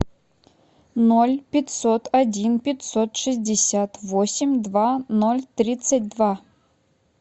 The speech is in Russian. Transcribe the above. ноль пятьсот один пятьсот шестьдесят восемь два ноль тридцать два